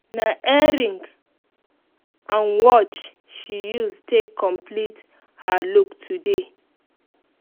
na earring and watch she use take complete her look today